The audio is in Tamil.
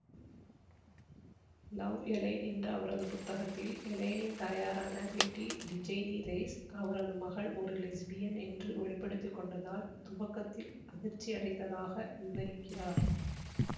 லவ் எல்லேன் என்ற அவரது புத்தகத்தில் எல்லேனின் தாயாரான பெட்டி டிஜெனிரெஸ் அவரது மகள் ஒரு லெஸ்பியன் என்று வெளி படுத்தி கொண்டதால் துவக்கத்தில் அதிர்ச்சியடைந்ததாக விவரிக்கிறார்